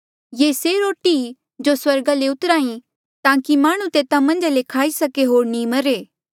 ये से रोटी ई जो स्वर्गा ले उत्रहा ई ताकि माह्णुं तेता मन्झा ले खाई सके होर नी मरे